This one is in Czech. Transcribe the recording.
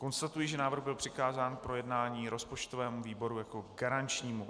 Konstatuji, že návrh byl přikázán k projednání rozpočtovému výboru jako garančnímu.